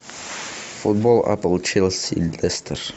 футбол апл челси лестер